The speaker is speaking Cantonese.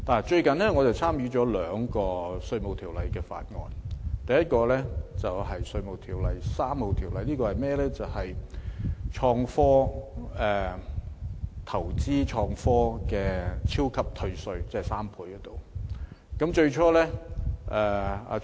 最近我參加了兩個涉及《稅務條例》的法案委員會，第一個有關《2018年稅務條例草案》，這法案涉及投資創科的超級退稅，即退稅3倍。